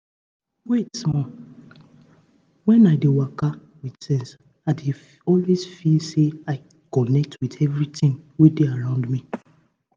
wait small when i dey waka with sense i dey always feel say i connect with everything wey dey around me